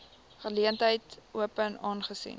geleentheid open aangesien